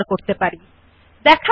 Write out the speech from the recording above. সুতরাং আসুন কিভাবে এটি করতে শেখে